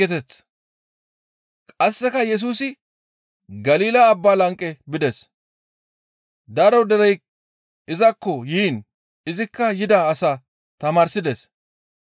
Qasseka Yesusi Galila Abba lanqe bides. Daro derey izakko yiin izikka yida asaa tamaarsides.